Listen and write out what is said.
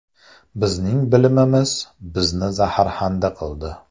Bizning bilimimiz bizni zaharxanda qildi.